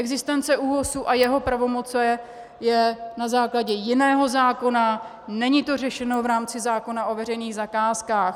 Existence ÚOHS a jeho pravomoci je na základě jiného zákona, není to řešeno v rámci zákona o veřejných zakázkách.